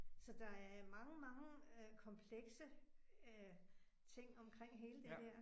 Så der er mange mange øh komplekse øh ting omkring hele det der